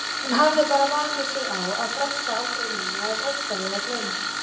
Hún hafði bara vanið sig á að fresta aldrei neinu af ótta við að gleyma.